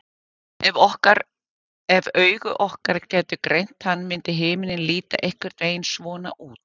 ef augu okkar gætu greint hann myndi himinninn líta einhvern veginn svona út